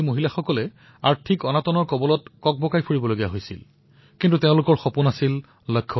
গ্ৰামীণ আজীৱিকা অভিযানৰ সহায়ত এতিয়া তাত চেণ্ডেল প্ৰস্তুত কৰাৰ কাৰখানাও স্থাপিত হৈছে যত আধুনিক যন্ত্ৰৰ সহায়ত চেণ্ডেল নিৰ্মাণ কৰা হয়